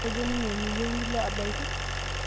kejo ninye miyieu nilo abaiki?